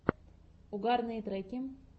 угарные треки